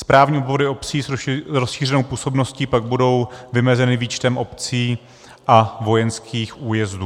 Správní obvody obcí s rozšířenou působností pak budou vymezeny výčtem obcí a vojenských újezdů.